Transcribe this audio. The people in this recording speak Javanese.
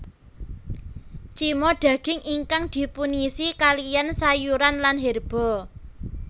Cima daging ingkang dipunisi kaliyan sayuran lan herba